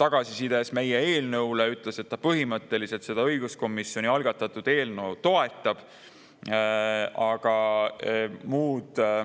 tagasisides meie eelnõu kohta ütles, et ta põhimõtteliselt õiguskomisjoni algatatud eelnõu toetab.